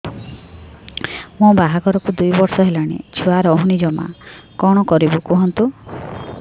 ମୋ ବାହାଘରକୁ ଦୁଇ ବର୍ଷ ହେଲାଣି ଛୁଆ ରହୁନି ଜମା କଣ କରିବୁ କୁହନ୍ତୁ